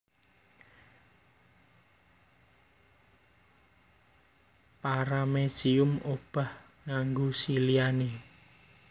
Paramecium obah nganggo siliane